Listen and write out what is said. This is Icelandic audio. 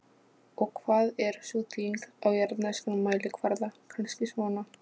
Og hvað er sú þyngd á jarðneskan mælikvarða, kannski svona